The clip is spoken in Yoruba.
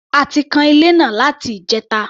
A ti kan ilé náà láti ìjẹta.